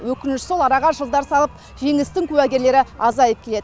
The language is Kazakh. өкініштісі сол араға жылдар салып жеңістің куәгерлері азайып келеді